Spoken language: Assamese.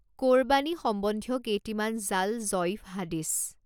কোৰবাণী সম্বন্ধীয় কেইটিমান জাল জঈফ হাদীছ